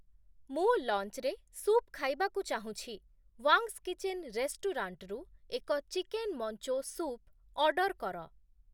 ମୁଁ ଲଞ୍ଚରେ ସୁପ ଖାଇବାକୁ ଚାହୁଁଛି, ୱାଙ୍ଗ୍ସ୍ କିଚେନ ରେଷ୍ଟୁରାଣ୍ଟରୁ ଏକ ଚିକେନ୍ ମଞ୍ଚୋ ସୁପ୍ ଅର୍ଡର କର |